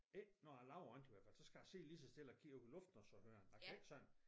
Ikke når jeg laver andet i hvert fald så skal jeg sidde lige så stille og kigge op i luften og høre den jeg kan ikke sådan